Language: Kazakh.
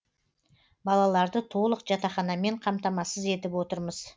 балаларды толық жатақханамен қамтамасыз етіп отырмыз